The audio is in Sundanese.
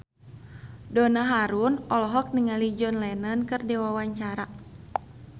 Donna Harun olohok ningali John Lennon keur diwawancara